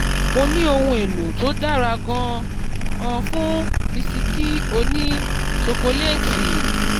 mo ní ohun èlò tó dára gan-an fún bisikì òní ṣokoléétì.